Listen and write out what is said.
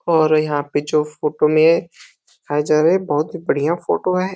और यहाँ पे जो फोटो में या जा रहा है बहुत ही बढ़ियाँ फोटो है।